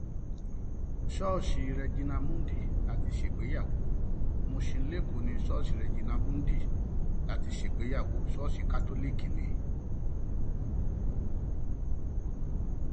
ṣọọṣì regina mundi la ti ṣègbéyàwó musin lẹkọọ ní ṣọọṣì regina mundi la ti ṣègbéyàwó ṣọọṣì kátólíìkì ni